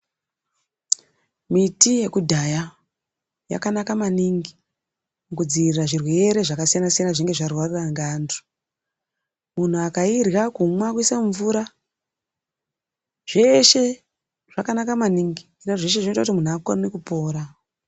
Miti yekudhaya yakanaka maningi mukudziirira zvirwere zvakasiyana siyana zvinenge zvarwara ngeantu muntu akairya kumwa kuisa mumvura zveshe zvakanaka maningi ngekuti zveshe zvoite kuti muntu akone kupora.